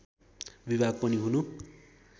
विभाग पनि हुनु